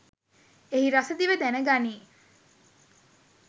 එහි රස දිව දැන ගනී.